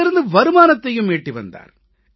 இதிலிருந்து வருமானத்தையும் ஈட்டி வந்தார்